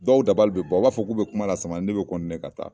Dɔw dabali bɛ ban, o b'a fɔ k'u bɛ kuma la sama, ne bɛ ka taa.